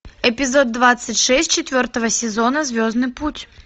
эпизод двадцать шесть четвертого сезона звездный путь